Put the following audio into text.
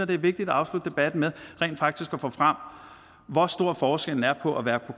det er vigtigt at afslutte debatten med rent faktisk at få frem hvor stor forskellen er på at være på